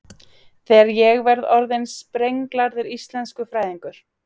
Þegar ég verð orðin sprenglærður íslenskufræðingur.